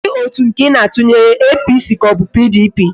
Kedu otu nke Ị na-atụnyere, APC ka ọ bụ PDP?